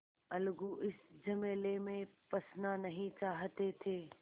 अलगू इस झमेले में फँसना नहीं चाहते थे